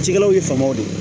Cikɛlaw ye faamaw de ye